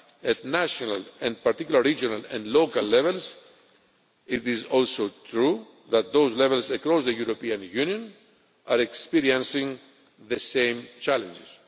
and done at national, and particularly at regional and local levels, it is also true that those levels across the European Union are experiencing the same challenges.